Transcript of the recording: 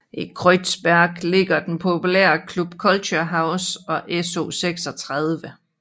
I Kreuzberg ligger den populære Club Culture House og SO36